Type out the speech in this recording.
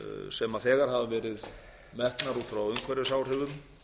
sem þegar hafa verið metnar út frá umhverfisáhrifum